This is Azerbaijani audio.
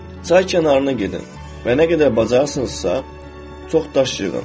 Çay kənarına gedin və nə qədər bacararsınızsa, çox daş yığın.